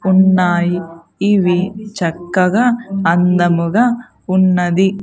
ఉన్నాయి ఇవి చక్కగా అందముగా ఉన్నది.